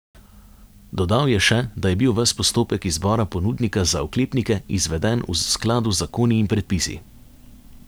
Dodal je še, da je bil ves postopek izbora ponudnika za oklepnike izveden v skladu z zakoni in predpisi.